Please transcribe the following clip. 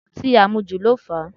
Ọtí àmujù ló fà á